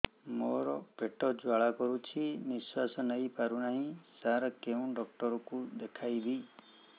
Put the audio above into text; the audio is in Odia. ମୋର ପେଟ ଜ୍ୱାଳା କରୁଛି ନିଶ୍ୱାସ ନେଇ ପାରୁନାହିଁ ସାର କେଉଁ ଡକ୍ଟର କୁ ଦେଖାଇବି